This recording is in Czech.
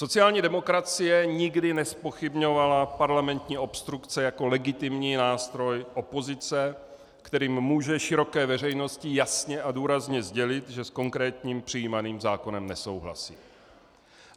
Sociální demokracie nikdy nezpochybňovala parlamentní obstrukce jako legitimní nástroj opozice, kterým může široké veřejnosti jasně a důrazně sdělit, že s konkrétním přijímaným zákonem nesouhlasí.